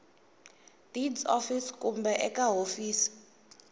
deeds office kumbe eka hofisi